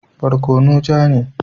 Barkono ja ne.